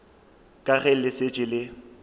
ka ge le šetše le